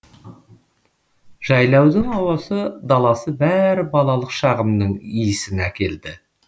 жайлаудың ауасы даласы бәрі балалық шағымның иісін әкелді